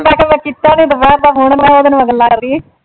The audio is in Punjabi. ਮੈਂ ਕਿਹਾ ਮੈਂ ਕੀਤਾ ਨਈਂ ਦੁਪਹਿਰ ਦਾ ਫ਼ੋਨ, ਮੈਂ ਕਿਹਾ ਉਹਦੇ ਨਾਲ ਗੱਲਾਂ ਮਾਰੀਏ।